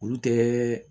Olu tɛ